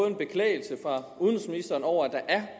en beklagelse fra udenrigsministeren over